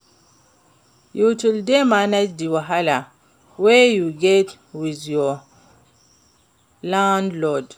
You still dey manage di wahala wey you get with your landlord?